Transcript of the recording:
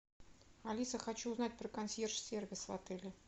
алиса хочу узнать про консьерж сервис в отеле